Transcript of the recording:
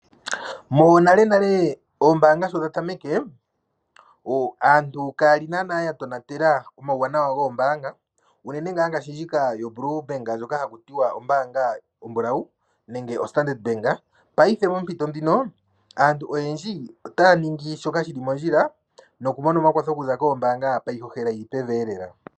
Monalenale ombaanga sho dhatameke, aantu ka ya li naanaa yatonatela omauwanawa goombaanga unene ngaashi ombaanga ndjika haku tiwa oblue bank nenge haku tiwa ombaanga ndjoka oombulawu ano oStandard bank payife oompito dhono aantu otaya ningi shoka shili mondjila nokumona omakwatho kombaanga pa yihohela yili peveelela.